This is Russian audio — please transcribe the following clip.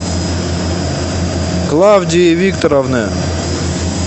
клавдии викторовны